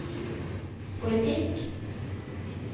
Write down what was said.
politikk